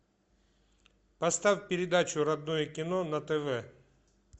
поставь передачу родное кино на тв